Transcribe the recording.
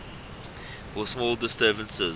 for small disturbances